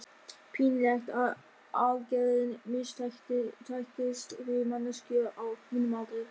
Pínlegt ef aðgerðin mistækist, fyrir manneskju á mínum aldri.